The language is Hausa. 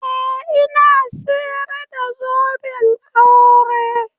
Eh ina sayar da zoben aure.